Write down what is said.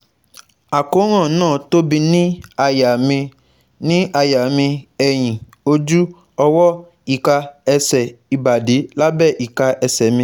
Àkóràn náà tóbi ní àyà mi, ní àyà mi, ẹ̀yìn, ojú, ọwọ́, ika, ẹsẹ̀, ìbàdí, lábẹ́ ìka ẹsẹ̀ mi